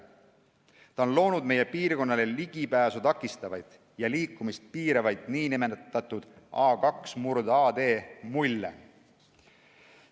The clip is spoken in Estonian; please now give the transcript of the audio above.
Ta on loonud meie piirkonnale ligipääsu takistavaid ja liikumist piiravaid nn A2/AD-mulle.